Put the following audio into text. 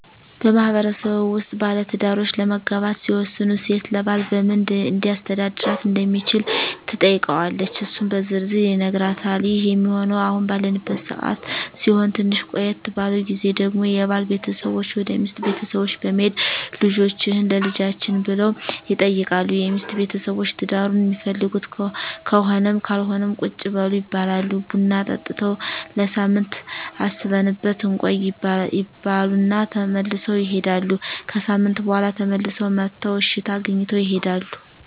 በማህበረሰቡ ውስጥ ባለትዳሮች ለመጋባት ሲወስኑ ሴት ለባል በምን ሊያስተዳድራት እንደሚችል ትጠይቀዋለች እሱም በዝርዝር ይነግራታል ይህ ሚሆነው አሁን ባለንበት ሰዓት ሲሆን ትንሽ ቆየት ባለው ግዜ ደግሞ የባል ቤተሰቦች ወደ ሚስት ቤተሰቦች በመሄድ ልጃቹህን ለልጃችን ብለው ይጠይቃሉ የሚስት ቤተሰቦች ትዳሩን ሚፈልጉት ከሆነም ካልሆነም ቁጭ በሉ ይባላሉ ቡና ጠጥተው ለሳምንት አስበንበት እንቆይ ይባሉ እና ተመልሰው ይሄዳሉ። ከሣምንት በኋላ ተመልሰው መጥተው እሽታ አግኝተው ይሄዳሉ።